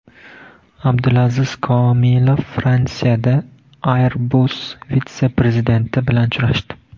Abdulaziz Komilov Fransiyada Airbus vitse-prezidenti bilan uchrashdi.